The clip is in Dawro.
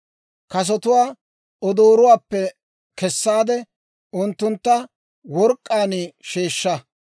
Kasotuwaa odoorotuwaappe kessaade, unttuntta work'k'aan sheeshsha.